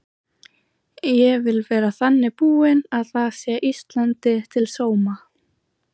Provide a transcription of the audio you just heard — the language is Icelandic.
Ég vil vera þannig búin að það sé Íslandi til sóma.